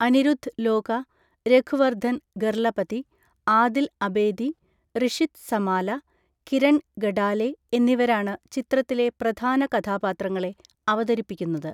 അനിരുദ്ധ് ലോക, രഘുവർധൻ ഗർലപതി, ആദിൽ അബേദി, റിഷിത് സമാല, കിരൺ ഗഡാലെ എന്നിവരാണ് ചിത്രത്തിലെ പ്രധാന കഥാപാത്രങ്ങളെ അവതരിപ്പിക്കുന്നത്.